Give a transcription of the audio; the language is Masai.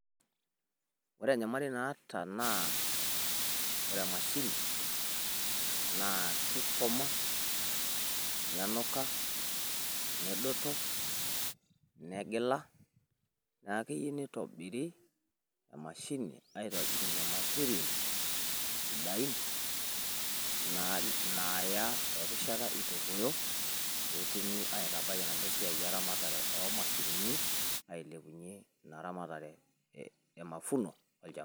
wooore enyamali naata naa wore emashini naa kikoma, nenuka, nedoto, negila neaku keyieeuu nitobiri emashini aitobiriunyie materials sidain naaya erishata itu eruoyo petumi aitabaaii enaduoo e ramatare oomashinini petumi ailepunyie eramatare emafuno olchamba